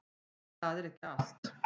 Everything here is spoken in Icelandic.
En það er ekki allt.